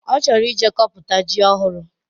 Ọ chọrọ ije kọpụta ji ohụrụ